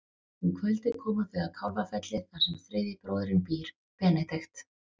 Um kvöldið koma þau að Kálfafelli þar sem þriðji bróðirinn býr, Benedikt.